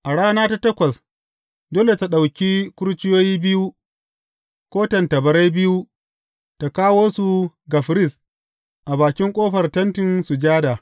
A rana ta takwas, dole tă ɗauki kurciyoyi biyu ko tattabari biyu ta kawo su ga firist a bakin ƙofar Tentin Sujada.